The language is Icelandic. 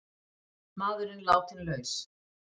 Maðurinn látinn laus